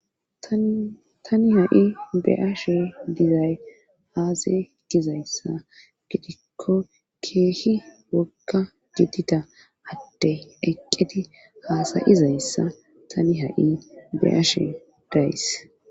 tani ha'i be'ashe dizay aze gizayssa gidikko keehi wogga gidida addey eqqedi haasayizayssa tani ha'i be'ashe days